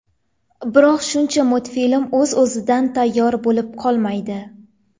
Biroq shuncha multfilm o‘z-o‘zidan tayyor bo‘lib qolmaydi.